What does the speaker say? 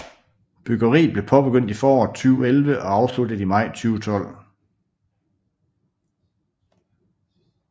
Byggeriet blev påbegyndt i foråret 2011 og afsluttet i maj 2012